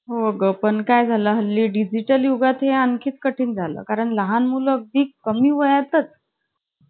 नाहीतर काय. कसलं tension नाही ना ग. फक्त जायचं वर्गात गाणी म्हणायची ची परत काढायची, एक दोन तीन काढायचे, मग A B C D काढायची, ते सगळं झालं कि मग madam आपल्याला